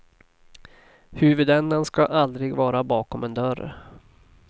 Huvudändan ska aldrig vara bakom en dörr.